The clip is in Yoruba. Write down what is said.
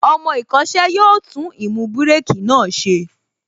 Ọmọ ìkọ́ṣẹ́ yóò tún īmú bírèkī náà ṣe